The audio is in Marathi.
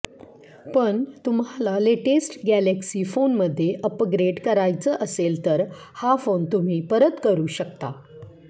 पण तुम्हाला लेटेस्ट गॅलक्सी फोनमध्ये अपग्रेड करायचं असेल तर हा फोन तुम्ही परत करू शकता